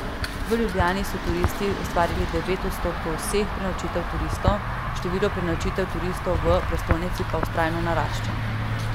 V Ljubljani so turisti ustvarili devet odstotkov vseh prenočitev turistov, število prenočitev turistov v prestolnici pa vztrajno narašča.